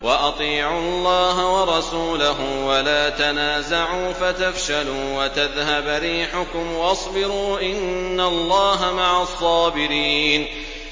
وَأَطِيعُوا اللَّهَ وَرَسُولَهُ وَلَا تَنَازَعُوا فَتَفْشَلُوا وَتَذْهَبَ رِيحُكُمْ ۖ وَاصْبِرُوا ۚ إِنَّ اللَّهَ مَعَ الصَّابِرِينَ